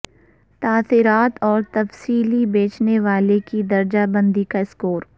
تاثرات اور تفصیلی بیچنے والے کی درجہ بندی کا اسکور